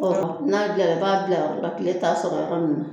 Ɔ n'a gilara e b'a bila yɔrɔ la kile t'a sɔrɔ yɔrɔ min